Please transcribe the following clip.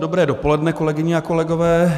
Dobré dopoledne, kolegyně a kolegové.